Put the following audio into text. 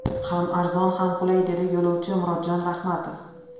Ham arzon, ham qulay, dedi yo‘lovchi Murodjon Rahmatov.